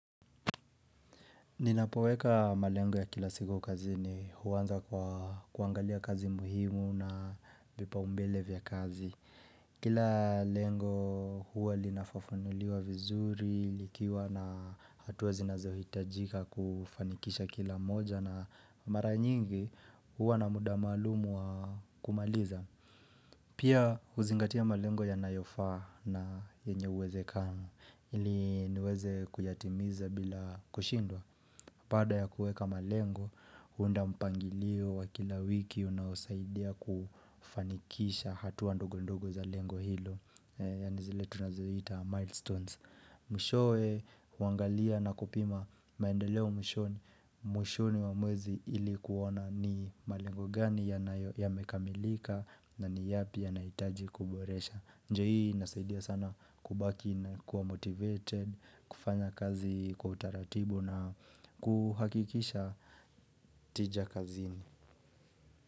Ninapoweka malengo ya kila siku kazi ni huwanza kwa kuangalia kazi muhimu na pipa umbele vya kazi. Kila lengo huwa linafafanuliwa vizuri, likiwa na hatua zinazohitajika kufanikisha kila moja na mara nyingi huwa na muda maalumu wa kumaliza. Pia huzingatia malengo ya nayofaa na yenye uweze kano ili niweze kuyatimiza bila kushindwa. Baada ya kueka malengo, hunda mpangilio wa kila wiki unaosaidia kufanikisha hatua ndogo ndogo za lengo hilo Yani zile tunazo ihita milestones Mwishowe, uwangalia na kupima maendeleo mwishoni, mwishoni wa mwezi ilikuona ni malengo gani ya mekamilika na ni yapi ya naitaji kuboresha njia hii inasaidia sana kubaki na kuwa motivated kufanya kazi kwa utaratibu na kuhakikisha tija kazini.